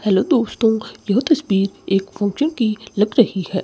Hello दोस्तों यह तस्वीर एक की लग रही है।